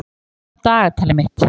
Árbjörg, opnaðu dagatalið mitt.